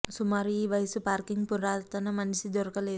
సుమారు ఈ వయస్సు పార్కింగ్ పురాతన మనిషి దొరకలేదు